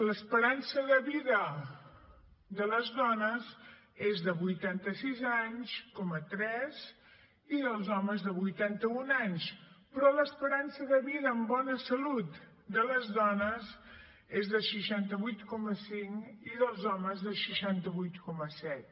l’esperança de vida de les dones és de vuitanta sis coma tres anys i dels homes de vuitanta un anys però l’esperança de vida amb bona salut de les dones és de seixanta vuit coma cinc i dels homes de seixanta vuit coma set